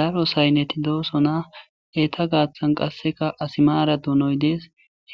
daro saynneti doosona eeta gaaththan qasseka asimaara dunoy dees